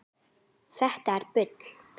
Þetta er bull!